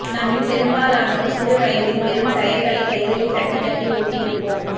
நம்மில் பெரும்பாலானோர் சிறு வயதில் வெறும் டயர்களை கைகளினால் தட்டி தட்டி ஓட்டிருப்போம்